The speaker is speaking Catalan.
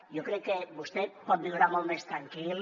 jo crec que vostè pot viure molt més tranquil